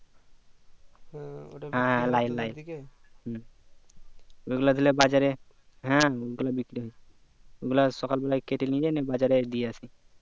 হ্যাঁ লাল লাল হম ওই গুলা ধরলে বাজারে হ্যাঁ ওইগুলো বিক্রি হয় ওইগুলো সকাল বেলায় কেটে নিয়ে যাই নিয়ে বাজারে দিয়ে আসি